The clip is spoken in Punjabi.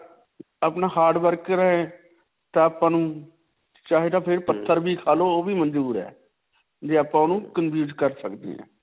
ਅਪਣਾ hard work ਰਹੇ ਤਾਂ ਆਪਾਂ ਨੂੰ ਚਾਹੇ ਤਾਂ ਫਿਰ ਪੱਥਰ ਵੀ ਖਾ ਲੋ ਓਹ ਵੀ ਮੰਜੂਰ ਹੈ. ਵੀ ਆਪਾਂ ਉਹਨੂੰ ਕਰ ਸਕਦੇ ਹਾਂ.